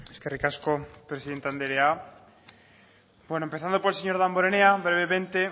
eskerrik asko presidente andrea bueno empezando por el señor damborenea brevemente